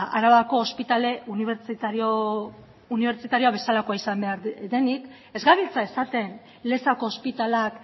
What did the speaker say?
arabako ospitale unibertsitarioa bezala izan behar denik ez gabiltza esaten lezako ospitaleak